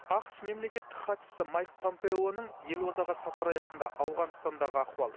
ақш мемлекеттік хатшысы майк помпеоның елордаға сапары аясында ауғанстандағы ахуал